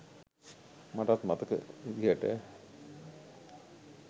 මටත් මතක විදිහට.